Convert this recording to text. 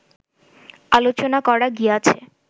আলোচনা করা গিয়াছে